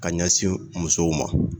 Ka ɲɛsin musow ma